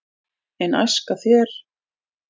en æska þér